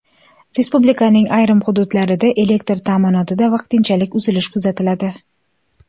Respublikaning ayrim hududlarida elektr ta’minotida vaqtinchalik uzilish kuzatiladi.